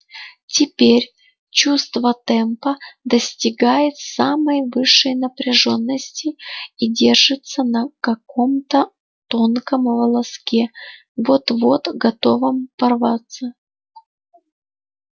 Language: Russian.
теперь чувство темпа достигает самой высшей напряжённости и держится на каком-то тонком волоске вот-вот готовом порваться